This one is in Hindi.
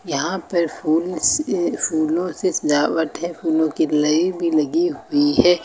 यहां पर फूल से फूलों से सजावट है फूलों की लई लगी हुई है।